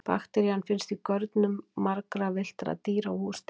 Bakterían finnst í görnum margra villtra dýra og húsdýra.